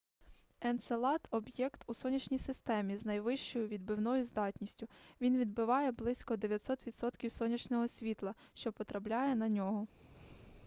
енцелад об'єкт у сонячній системі з найвищою відбивною здатністю він відбиває близько 90 відсотків сонячного світла що потрапляє на нього